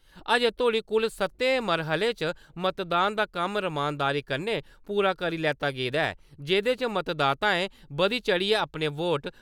अज्जें तोह्ड़ी कुल सत्तें मरहलें च मतदान दा कम्म र्‌मानदारी कन्नै पूरा करी लैता गेदा ऐ जेह्दे च मतदाताएं बधी-चढ़ियै अपने वोट